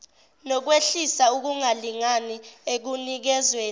nokwehlisa ukungalingani ekunikezweni